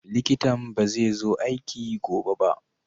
likitan bazai zo aiki gobe ba.